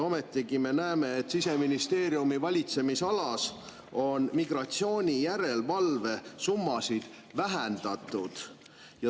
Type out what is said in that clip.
Ometigi me näeme, et Siseministeeriumi valitsemisalas on migratsioonijärelevalve summasid vähendatud.